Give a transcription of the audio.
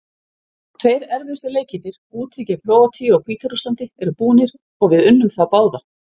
Tveir erfiðustu leikirnir, úti gegn Króatíu og Hvíta-Rússlandi eru búnir og við unnum þá báða.